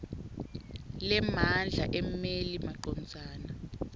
lemandla emmeli macondzana